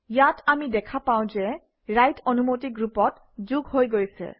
ইয়াত আমি দেখা পাওঁ যে ৰাইট অনুমতি গ্ৰুপত যোগ হৈ গৈছে